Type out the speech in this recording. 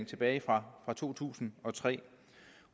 tilbage fra to tusind og tre